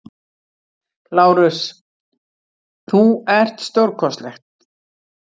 LÁRUS: Þú ert stórkostleg!